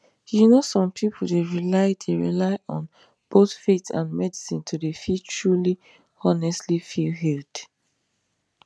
you know some pipu dey rely dey rely on both faith and medicine to dey feel truly honestly feel healed